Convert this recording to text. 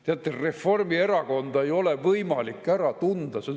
Teate, Reformierakonda ei ole võimalik ära tunda.